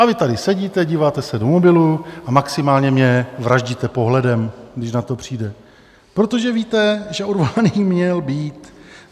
A vy tady sedíte, díváte se do mobilu a maximálně mě vraždíte pohledem, když na to přijde, protože víte, že odvolaný měl být.